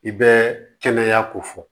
I bɛ kɛnɛya ko fɔ